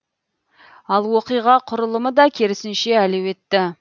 ал оқиға құрылымы да керісінше әлеуетті